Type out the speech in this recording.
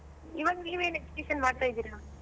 ಇವಾಗ ನೀವ್ ಏನ್ education ಮಾಡ್ತಾ ಇದ್ದೀರಾ?